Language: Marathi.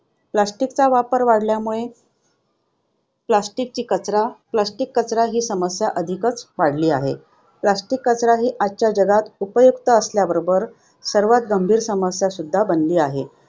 plastic चा वापर वाढल्यामुळे plastic कचरा plastic कचरा ही समस्या अधिकच वाढली आहे. plastic कचरा ही आजच्या जगात उपयुक्त असण्याबरोबरच सर्वात गंभीर समस्या सुद्धा बनली आहे.